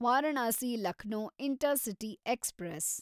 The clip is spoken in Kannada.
Varanasi Lucknow intercity express